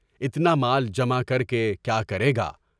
اتنا مال جمع کر کے کیا کرے گا؟